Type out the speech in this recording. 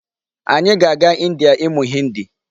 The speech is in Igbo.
Anyị ga-aga India ịmụ Hindi.